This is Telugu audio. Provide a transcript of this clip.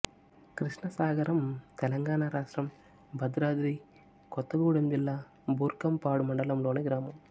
కృష్ణసాగరం తెలంగాణ రాష్ట్రం భద్రాద్రి కొత్తగూడెం జిల్లా బూర్గంపాడు మండలంలోని గ్రామం